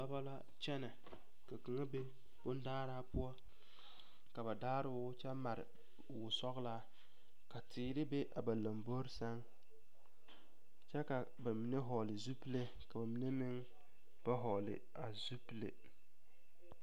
Dɔbɔ la kyɛnɛ ka kaŋa be bondaaraa poɔ ka ba daaro kyɛ mare wosɔgelaa ka teere be a ba lombori sɛŋ kyɛ ka bamine hɔɔle zupili ka bamine meŋ ba hɔɔle a zupili.